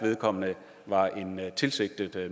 vedkommende var en tilsigtet